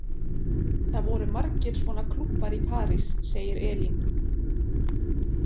Það voru margir svona klúbbar í París, segir Elín.